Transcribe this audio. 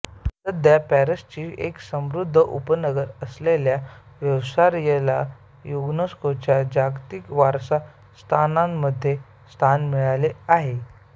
सध्या पॅरिसचे एक समृद्ध उपनगर असलेल्या व्हर्सायला युनेस्कोच्या जागतिक वारसा स्थानांमध्ये स्थान मिळाले आहे